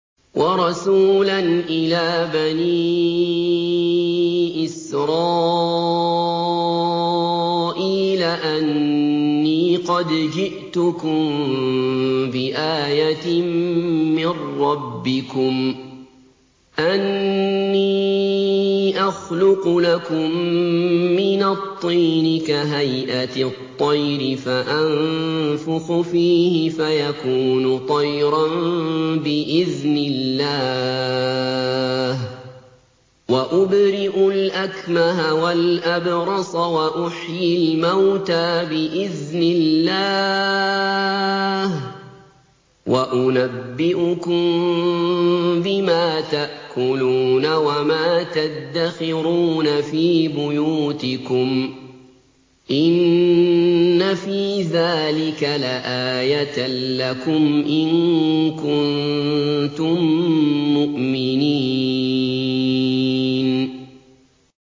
وَرَسُولًا إِلَىٰ بَنِي إِسْرَائِيلَ أَنِّي قَدْ جِئْتُكُم بِآيَةٍ مِّن رَّبِّكُمْ ۖ أَنِّي أَخْلُقُ لَكُم مِّنَ الطِّينِ كَهَيْئَةِ الطَّيْرِ فَأَنفُخُ فِيهِ فَيَكُونُ طَيْرًا بِإِذْنِ اللَّهِ ۖ وَأُبْرِئُ الْأَكْمَهَ وَالْأَبْرَصَ وَأُحْيِي الْمَوْتَىٰ بِإِذْنِ اللَّهِ ۖ وَأُنَبِّئُكُم بِمَا تَأْكُلُونَ وَمَا تَدَّخِرُونَ فِي بُيُوتِكُمْ ۚ إِنَّ فِي ذَٰلِكَ لَآيَةً لَّكُمْ إِن كُنتُم مُّؤْمِنِينَ